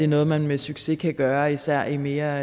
noget man med succes kan gøre især i mere